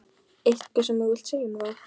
Eitthvað sem þú vilt segja um það?